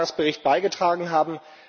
16. Jahresbericht beigetragen haben.